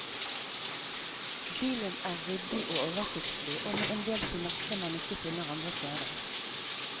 Bilen er ryddig og oversiktlig og med endel finesser man ikke finner andre steder.